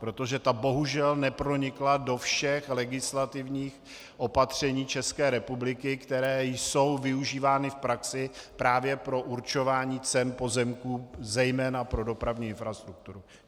Protože ta bohužel nepronikla do všech legislativních opatření České republiky, která jsou využívána v praxi právě pro určování cen pozemků, zejména pro dopravní infrastrukturu.